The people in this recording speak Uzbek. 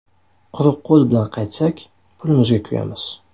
Quruq qo‘l bilan qaytsak, pulimizga kuyamiz.